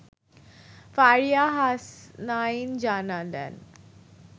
ফারিয়া হাসনাইন জানালেন